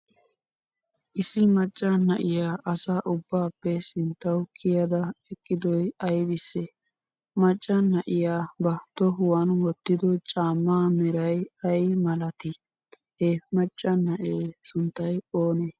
issi maccaa naa7iya asaa ubbappe sinttawu kiyaada eqqidoy aybisee? maccaa naa7iya ba tohuwan wootido caamma meraay ay malaati? he maccaa naa7e sunttay oone?